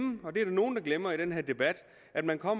og det er der nogle der glemmer i den her debat at man